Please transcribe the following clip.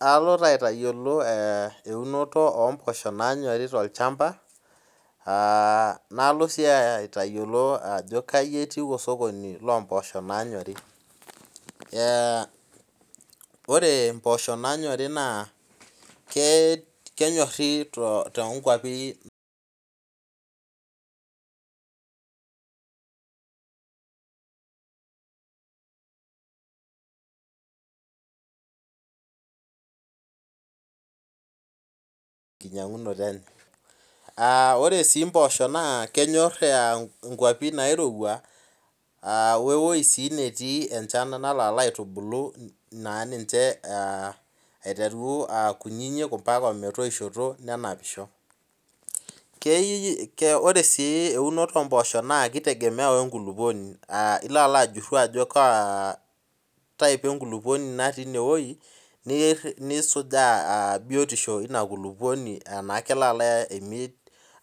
Alo taa aitayiolo eunoto oomboosho naanyori tolchamba aa nalo sii aitayiolo ajo kayi etiu osokoni loomboosho naanyori Ore mboosho naanyori naa kenyorhi toongwapi enginyang'unoto enye Ore sii mboosho naa kenyor ingwapi nairowua aa wewei sii netii enchan nalo alaitubulu naa ninche aitereru aa kunyinyi ometoishoto nenapisho Kei Ore sii eunoto oomboosho naa kitegemea wenkulukuoni ilo alo ajurhu ajo kaa type enkulukuoni natii inewei nisujaa biyotishu inakulukuoni enaa kelo ala